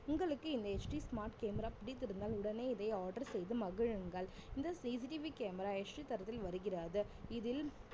உங்களுக்கு இந்த HD smart camera பிடித்திருந்தால் உடனே இதை order செய்து மகிழுங்கள் இந்த CCTV camera HD தரத்தில் வருகிறது இதில்